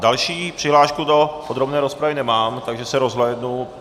Další přihlášku do podrobné rozpravy nemám, takže se rozhlédnu.